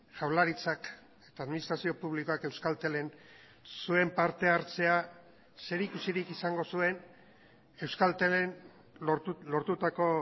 jaurlaritzak eta administrazio publikoak euskaltelen zuen parte hartzea zerikusirik izango zuen euskaltelen lortutako